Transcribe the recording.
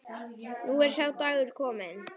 Nú er sá dagur kominn.